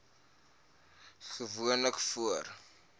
asma gewoonlik voor